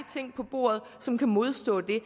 ting på bordet som kan modstå det